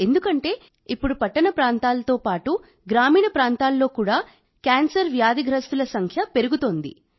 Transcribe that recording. ఎందుకంటే ఇప్పుడు పట్టణ ప్రాంతాలతో పాటు గ్రామీణ ప్రాంతాల్లో కూడా క్యాన్సర్ వ్యాధిగ్రస్తుల సంఖ్య పెరుగుతోంది